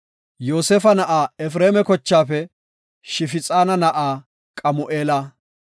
Yoosefa na7aa Efreema kochaafe Shifixaana na7aa; Qamu7eela;